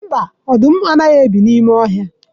Mba, ọdụm anaghị ebi n'ime ọhịa